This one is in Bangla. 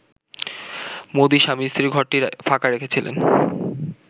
মোদি স্বামী/স্ত্রীর ঘরটি ফাঁকা রেখেছিলেন